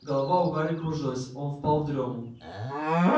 голова у гарри кружилась он впал в дрёму